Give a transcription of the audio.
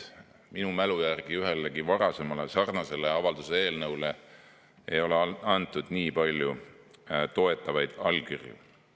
Minu mälu järgi ühelegi varasemale sarnasele avalduse eelnõule ei ole antud nii palju toetavaid allkirju.